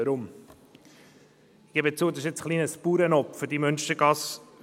Weshalb? – Ich gebe zu, diese Münstergasse 45/47 ist ein wenig ein Bauernopfer.